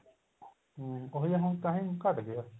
ਹਮ ਉਹੀ ਆ ਹੁਣ time ਘੱਟ ਗਿਆ